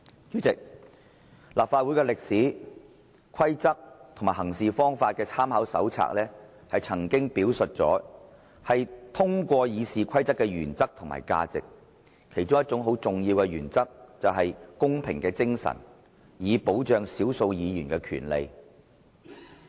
主席，立法會歷史、規則和行事方法的參考手冊曾經表述過，是通過《議事規則》的原則和價值，其中一個很重要的原則就是，公平精神，以保障少數議員的權利。